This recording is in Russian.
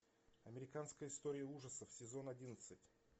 американская история ужасов сезон одиннадцать